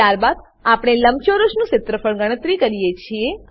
ત્યારબાદ આપણે લંબચોરસનું ક્ષેત્રફળ ગણતરી કરીએ છીએ